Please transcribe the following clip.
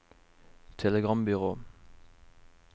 telegrambyrå